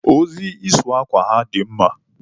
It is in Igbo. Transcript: Ozi ịsụ akwa ha dị mma.